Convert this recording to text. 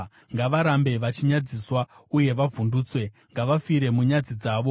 Ngavarambe vachinyadziswa uye vavhundutswe; ngavafire munyadzi dzavo.